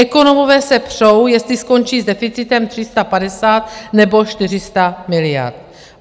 Ekonomové se přou, jestli skončí s deficitem 350, nebo 400 miliard.